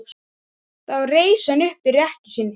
Þá reis hann upp í rekkju sinni.